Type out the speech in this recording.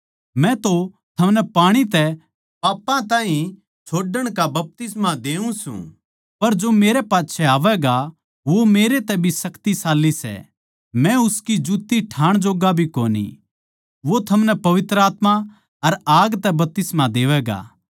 मै तो थमनै पाणी तै पापां ताहीं छोड़ण का बपतिस्मा देऊ सूं पर जो मेरै पाच्छै आवैगा वो मेरै तै भी शक्तिशाली सै मै उसकी जुत्ती ठाण जोग्गा भी कोनी वो थमनै पवित्र आत्मा अर आग तै बपतिस्मा देवैगा